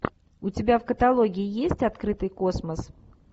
у тебя в каталоге есть открытый космос